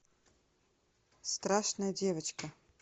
страшная девочка